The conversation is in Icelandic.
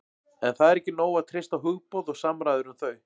en það er ekki nóg að treysta á hugboð og samræður um þau